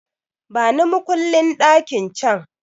Bani makullin ɗakin can!